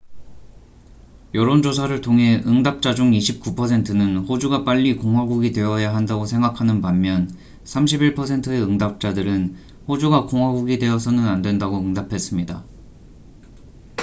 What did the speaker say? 여론조사를 통해 응답자중 29퍼센트는 호주가 빨리 공화국이 되어야한다고 생각하는 반면 31퍼센트의 응답자들은 호주가 공화국이 되어서는 안된다고 응답했습니다